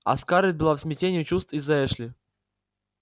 а скарлетт была в смятении чувств из-за эшли